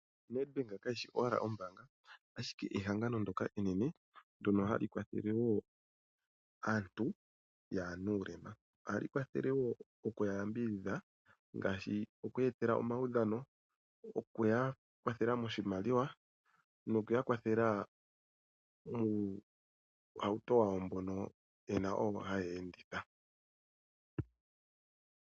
Nedbank kayi shi owala ombaanga, ashike ehangano enene ndyoka hali kwathele wo aantu taya lumbu nuulema. Ohali kwathele nokuya yambidhidha ngaashi okuya etela omaudhano, okuya kwathela moshimaliwa nokuya kwathela nuutemba wawo mboka owo haya enditha.